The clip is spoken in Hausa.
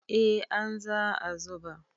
eh an za a zuba